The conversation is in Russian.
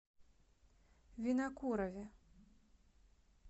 винокурове